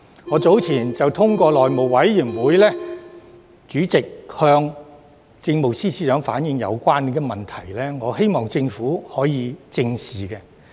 我早前便透過內務委員會主席向政務司司長反映，我希望政府正視有關問題。